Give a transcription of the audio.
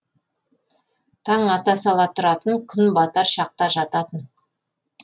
таң ата сала тұратын күн батар шақта жататын